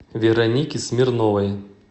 веронике смирновой